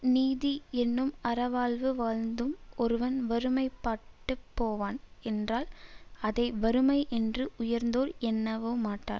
நீதி என்னும் அறவாழ்வு வாழ்ந்தும் ஒருவன் வறுமைப்பட்டுப் போவான் என்றால் அதை வறுமை என்று உயர்ந்தோர் எண்ணவேமாட்டார்